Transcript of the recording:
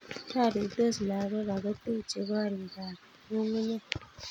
Roritos lagok ako techei gorikab ngungunyek